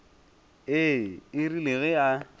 ee e rile ge a